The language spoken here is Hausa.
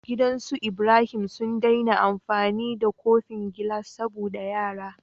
Gidan us Ibrahim su dai na amfani da kofin gilas saboda yara